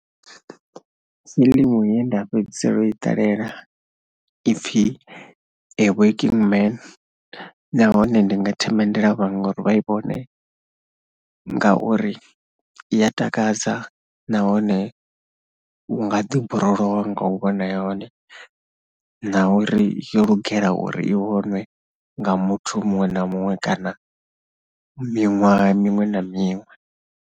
Fiḽimu ye nda fhedzisela u i ṱalela ipfhi 'A working man' nahone ndi nga themendela vhaṅwe uri vha i vhone ngauri i ya takadza nahone u nga ḓiborowa nga u vhona hone na uri yo lugela uri i vhonwe nga muthu muṅwe na muṅwe kana miṅwaha miṅwe na miṅwe.